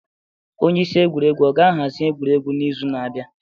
Onye isi egwuregwu ọ ga-ahazi egwuregwu n'izu na-abịa?